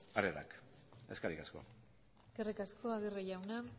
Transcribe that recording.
harrerak eskerrik asko eskerrik asko aguirre jauna